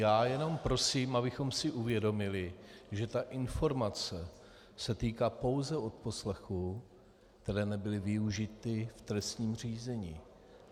Já jenom prosím, abychom si uvědomili, že ta informace se týká pouze odposlechů, které nebyly využity v trestním řízení.